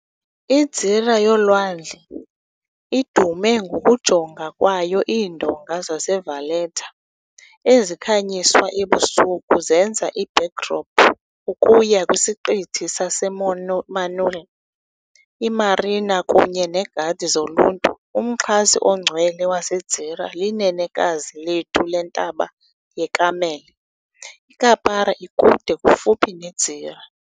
I-Gżira yolwandle idume ngokujonga kwayo Iindonga zeValletta, ezikhanyiswa ebusuku, zenza i-backdrop ukuya kwiSiqithi saseManoel, i-marina kunye negadi zoluntu. Umxhasi ongcwele waseGżira liNenekazi Lethu leNtaba yeKarmele. IKappara ikude kufuphi neGżira.